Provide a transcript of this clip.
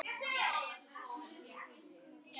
Meira minni eykur afkastagetu tölva.